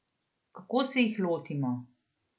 Kako se jih lotimo?